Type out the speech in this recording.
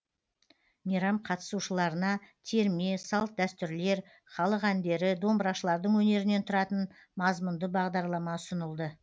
мейрам қатысушыларына терме салт дәстүрлер халық әндері домбырашылардың өнерінен тұратын мазмұнды бағдарлама ұсынылды